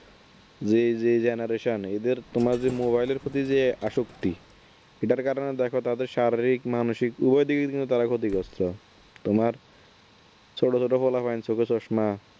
যে যেই genaration এদের তোমার Mobile প্রতি যে আসক্তি এটার কারণে দেখো তাদের শারীরিক মানসিক উভয় দিকের কিন্তু তারা ক্ষতিগ্রস্থ। তোমার ছোট ছোট পোলাপান চোখে চশমা